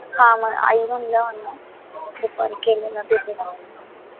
हा मग आई म्हणल्या मला दुपारी केलेला दीदीला phone म्हणून